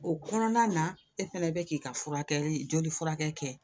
O kɔnɔna na e fɛnɛ bɛ k'i ka furakɛli joli furakɛ kɛ